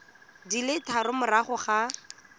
di le tharo morago ga